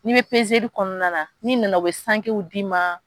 N'i bɛ kɔnɔna n'i nana u bɛ sangew d'i ma